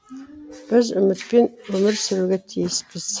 біз үмітпен өмір сүруге тиіспіз